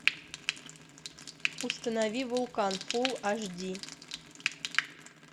установи вулкан фулл аш ди